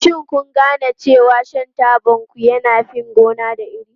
Shin kun gane cewa shan tabanku yana fin gona da iri?